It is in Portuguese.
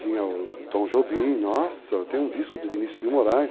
Tinha o Tom Jobim, nossa, tem um disco de Vinícius de Moraes,